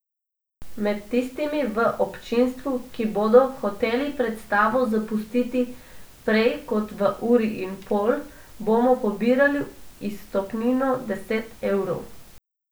Med tistimi v občinstvu, ki bodo hoteli predstavo zapustiti prej kot v uri in pol, bomo pobirali izstopnino deset evrov.